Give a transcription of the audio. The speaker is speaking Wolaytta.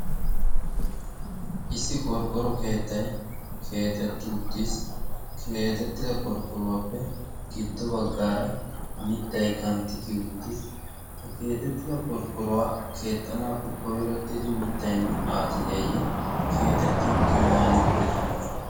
issi qorqqoro keettai keexetti uttiis. keexettida qorqqoruwaappe giddo baggaara mittai kantti kiyi uttis. ha keexettida qorqqoruwaa keexxanaappe koirottidi mittai aacideeyye keexetti uttin waani pude kiiyidee?